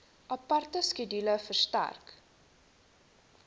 aparte skedule verstrek